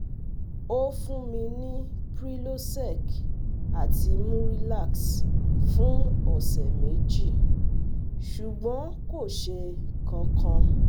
Ó fún mi ní Prylosec àti Murilax fún ọ̀sẹ̀ méjì, ṣùgbọ́n kò ṣe kankan